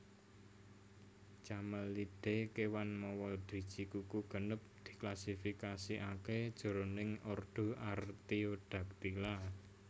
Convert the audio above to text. Camelidae kéwan mawa driji kuku genep diklasifikasikaké jroning ordo Artiodactyla